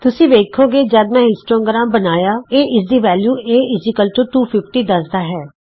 ਤੁਸੀਂ ਵੇਖੋਗੇ ਜਦ ਮੈਂ ਹਿਸਟੋਗ੍ਰਾਮ ਬਣਾਇਆ ਇਹ ਇਸ ਦੀ ਵੈਲਯੂ a 250 ਦੱਸਦਾ ਹੈ